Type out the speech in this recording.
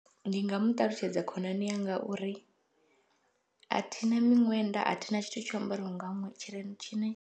Ndi nga muṱalutshedza khonani yanga uri athina miṅwenda athina tshithu tsho ambariwa nga ṅwenda tshi tshine.